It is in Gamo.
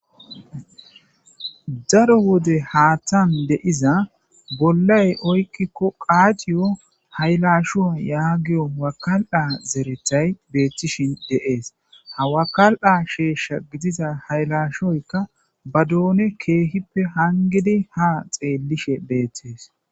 Daro wode haattan deiza bollay oykkikko qaaciyo haylashu yaagiyo wakal'a zerethay beeththishin deees hawakal'a sheeshsha gidiza haylashoyka ba doone keehippe hangidi ha xeellishe beeththees.